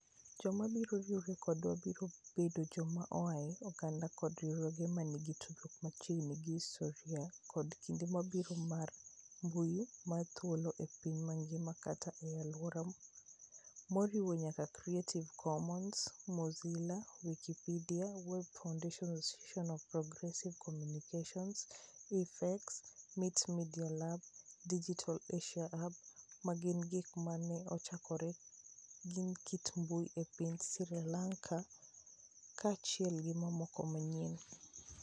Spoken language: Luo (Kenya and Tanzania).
Joma biro riwore kodwa biro bedo joma oa e oganda koda riwruoge ma nigi tudruok machiegni gi histori koda kinde mabiro mar mbui mar thuolo, e piny mangima kata e alwora, moriwo nyaka Creative Commons, Mozilla, Wikipedia, Web Foundation, Association of Progressive Communications, IFEX, MIT Media Lab, Digital Asia Hub, ma gin gik ma ne ochakore gi kit mbui e piny Sri Lanka, kaachiel gi mamoko mang'eny.